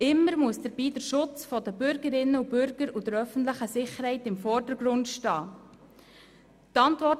Dabei müssen immer der Schutz der Bürgerinnen und Bürger sowie die öffentliche Sicherheit im Vordergrund stehen.